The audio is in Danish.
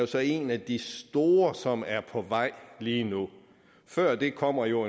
så en af de store som er på vej lige nu før den kommer jo